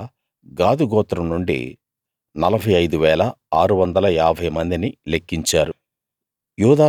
అలా గాదు గోత్రం నుండి 45 650 మందిని లెక్కించారు